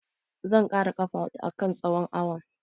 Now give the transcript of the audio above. Zan ƙara ƙafa huɗu a kan tsohon awon.